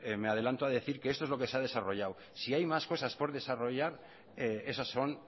me adelanto a decir que esto es lo que se ha desarrollado si hay más cosas por desarrollar esas son